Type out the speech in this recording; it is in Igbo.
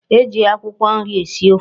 E ji akwụkwọ nri esi ofe.